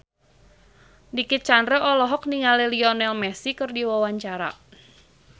Dicky Chandra olohok ningali Lionel Messi keur diwawancara